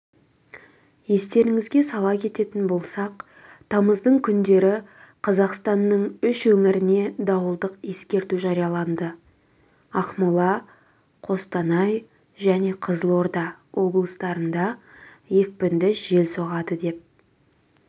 естеріңізге сала кететін болсақ тамыздың күндері қазақстанның үш өңіріне дауылдық ескерту жарияланды ақмола қостанай және қызылорда облыстарында екпінді жел соғады деп